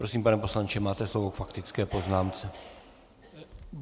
Prosím, pane poslanče, máte slovo k faktické poznámce.